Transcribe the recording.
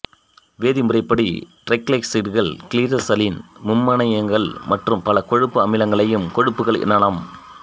வேதி முறைப்படி டிரைகிளிசரைடுகள் கிளிசராலின் மும்மணமியங்கள் மற்றும் பல கொழுப்பு அமிலங்களையும் கொழுப்புகள் எனலாம்